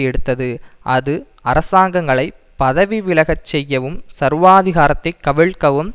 எடுத்தது அது அரசாங்கங்களை பதவி விலகச் செய்யவும் சர்வாதிகாரத்தை கவிழ்க்கவும்